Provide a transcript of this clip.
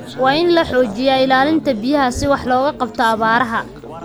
Waa in la xoojiyaa ilaalinta biyaha si wax looga qabto abaaraha.